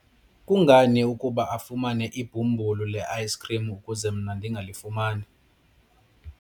kungani ukuba afumane ibhumbulu le-ayisikhrim ukuze mna ndingalifumani?